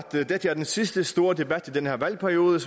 dette er den sidste store debat i den her valgperiode